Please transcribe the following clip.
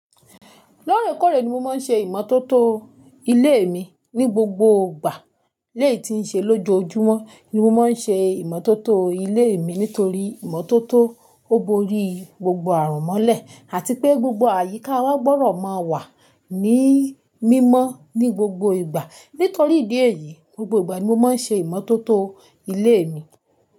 Lóòrèkóòrè ni mo máa ń ṣe ìmọ́tótó ilé mi ní gbogbo ìgbà. Léè tí ń ṣe lójoojúmọ́ ni mo máa ń ṣe ìmọ́tótó ilé mi nítorí ìmọ́tótó ó borí gbogbo àrun mọ́lẹ̀ àti pé gbogbo àyíká wa gbọ́dọ̀ máa wà ní mímọ́ ní gbogbo ìgbà. Nítorí ìdí èyí, gbogbo ìgbà ni mo máa ń ṣe ìmọ́tótó ilé mi.